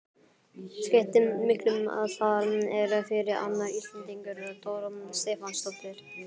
Skipti miklu að þar er fyrir annar Íslendingur, Dóra Stefánsdóttir?